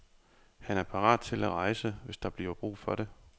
Han er parat til at rejse, hvis der bliver brug for det.